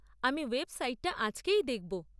আমি ওয়েবসাইট টা আজকেই দেখব।